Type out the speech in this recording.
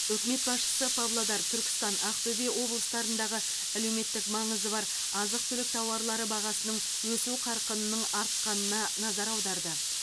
үкімет басшысы павлодар түркістан ақтөбе облыстарындағы әлеуметтік маңызы бар азық түлік тауарлары бағасының өсу қарқынының артқанына назар аударды